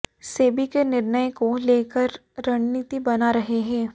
सेबी के निर्णय को लेकर रणनीति बना रहे हैं